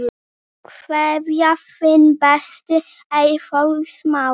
Kveðja, þinn besti, Eyþór Smári.